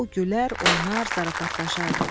O gülər, oynar, zarafatlaşardı.